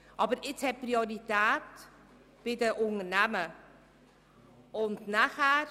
Aber jetzt haben die Unternehmen Priorität.